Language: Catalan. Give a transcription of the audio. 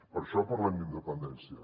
per això parlem d’independència